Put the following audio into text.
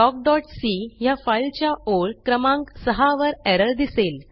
talkसी ह्या फाइल च्या ओळ क्रमांक सहा वर एरर दिसेल